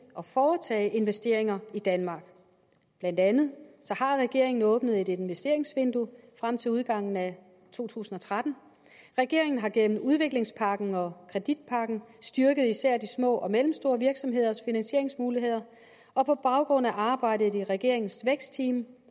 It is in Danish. at foretage investeringer i danmark blandt andet har regeringen åbnet et investeringsvindue frem til udgangen af to tusind og tretten regeringen har gennem udviklingspakken og kreditpakken styrket især de små og mellemstore virksomheders finansieringsmuligheder og på baggrund af arbejdet i regeringens vækstteam